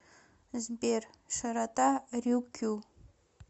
сбер широта рюкю